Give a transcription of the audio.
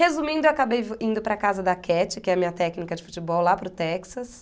Resumindo, eu acabei indo para a casa da Catty, que é a minha técnica de futebol, lá para o Texas.